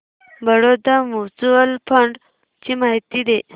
Baroda mutual fund ची माहिती दे